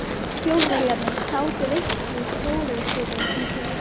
Þjóðverjarnir sátu veislu í Stórustofu um kvöldið.